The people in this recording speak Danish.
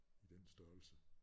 I den størrelse